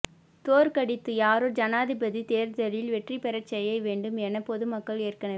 தோற்கடித்து யாரை ஜனாதிபதி தேர்தலில் வெற்றி பெறச் செய்ய வேண்டும் என பொதுமக்கள் ஏற்கனவே